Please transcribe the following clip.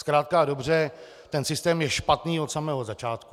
Zkrátka a dobře, ten systém je špatný od samého začátku.